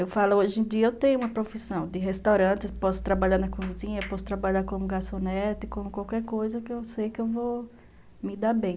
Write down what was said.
Eu falo, hoje em dia eu tenho uma profissão de restaurante, posso trabalhar na cozinha, posso trabalhar como garçonete, como qualquer coisa que eu sei que eu vou me dar bem.